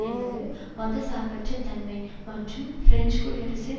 என்பது மத சார்பற்ற தன்மை மற்றும் பிரெஞ்சு குடியரசின்